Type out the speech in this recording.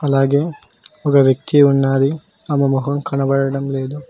అలాగే ఒక వ్యక్తి ఉన్నది ఆమె మొహం కనబడడం లేదు.